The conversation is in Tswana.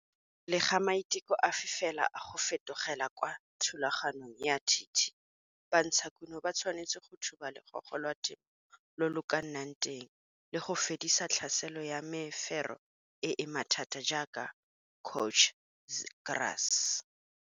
Pele ga maiteko afe fela a go fetogela kwa thulaganyong ya TT, bantshakuno ba tshwanetse go thuba logogo lwa temo lo lo ka nnang teng le go fedisa tlhaselo ya mefero e e mathata jaaka coach grass.